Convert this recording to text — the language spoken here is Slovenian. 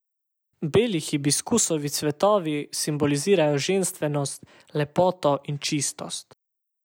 Beli hibiskusovi cvetovi simbolizirajo ženstvenost, lepoto in čistost.